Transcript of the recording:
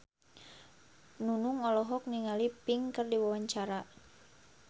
Nunung olohok ningali Pink keur diwawancara